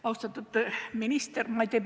Austatud minister!